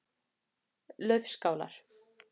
Laufskálar